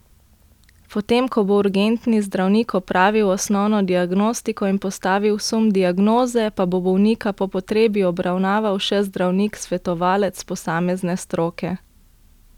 Potem, ko bo urgentni zdravnik opravil osnovno diagnostiko in postavil sum diagnoze, pa bo bolnika po potrebi obravnaval še zdravnik svetovalec posamezne stroke.